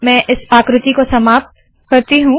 मैं इस आकृति को समाप्त करती हूँ